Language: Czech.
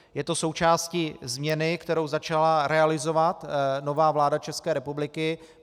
Je to součástí změny, kterou začala realizovat nová vláda České republiky.